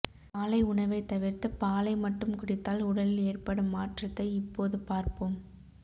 காலை உணவை தவிர்த்து பாலை மட்டும் குடித்தால் உடலில் ஏற்படும் மாற்றத்தை இப்போது பார்ப்போம்